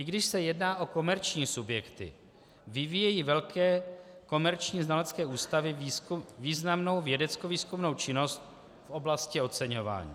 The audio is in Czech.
I když se jedná o komerční subjekty, vyvíjejí velké komerční znalecké ústavy významnou vědeckovýzkumnou činnost v oblasti oceňování.